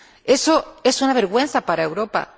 Eso es una vergüenza para Europa.